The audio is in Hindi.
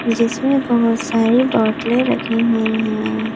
जिसमें बहुत सारी बोतलें रखी हुई हैं।